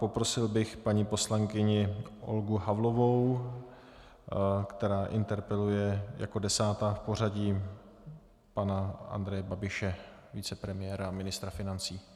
Poprosil bych paní poslankyni Olgu Havlovou, která interpeluje jako desátá v pořadí pana Andreje Babiše, vicepremiéra a ministra financí.